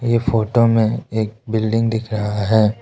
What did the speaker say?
इस फोटो में एक बिल्डिंग दिख रहा है।